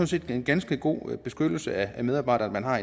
set en ganske god beskyttelse af medarbejderne man har